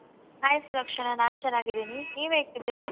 Hai Sulakshana ನಾನ್ ಚೆನ್ನಾಗಿದೀನಿ, ನೀವ್ ಹೇಗಿದೀರಾ?